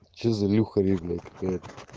че за ильха ю блять какая